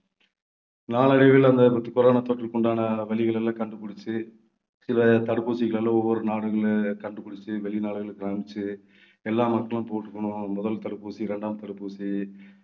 நாளடைவில அந்த corona தொற்றுக்கு உண்டான வழிகள் எல்லாம் கண்டுபிடிச்சு சில தடுப்பூசிகளை எல்லாம் ஒவ்வொரு நாடுகள்ல கண்டுபிடிச்சு வெளிநாடுகளுக்கு அனுப்பிச்சு எல்லா மக்களும் போட்டுக்கணும் முதல் தடுப்பூசி இரண்டாம் தடுப்பூசி